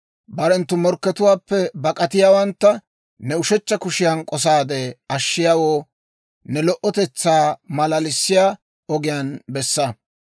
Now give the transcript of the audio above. Barenttu morkkatuwaappe bak'atiyaawantta ne ushechcha kushiyan k'osaade ashshiyaawoo, ne lo"otetsaa maalalissiyaa ogiyaan bessa.